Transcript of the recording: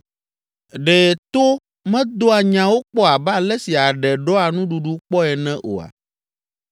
Ɖe to medoa nyawo kpɔ abe ale si aɖe ɖɔa nuɖuɖu kpɔe ene oa?